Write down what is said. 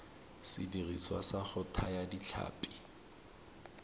sediriswa sa go thaya ditlhapi